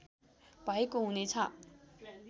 भएको हुने छ